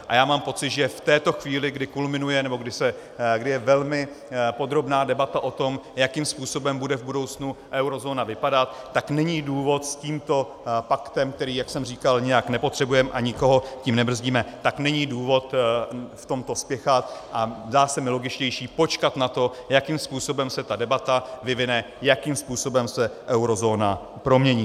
A já mám pocit, že v této chvíli, kdy kulminuje, nebo kdy je velmi podrobná debata o tom, jakým způsobem bude v budoucnu eurozóna vypadat, tak není důvod s tímto paktem, který, jak jsem říkal, nijak nepotřebujeme, a nikoho tím nebrzdíme, tak není důvod v tomto spěchat a zdá se mi logičtější počkat na to, jakým způsobem se ta debata vyvine, jakým způsobem se eurozóna promění.